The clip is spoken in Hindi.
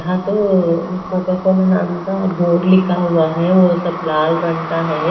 हां तो कोका कोला नाम का बोर्ड लिखा हुआ है वो सब लाल रंग का है।